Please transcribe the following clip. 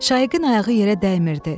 Şaiqin ayağı yerə dəymirdi.